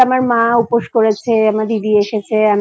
আমার মা উপোস করেছে আমার দিদি এসেছে।